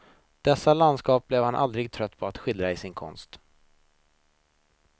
Dessa landskap blev han aldrig trött på att skildra i sin konst.